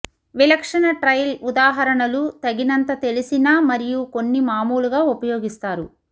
విలక్షణ ట్రైల్ ఉదాహరణలు తగినంత తెలిసిన మరియు కొన్ని మామూలుగా ఉపయోగిస్తారు